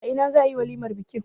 A ina za a yi walimar bikin?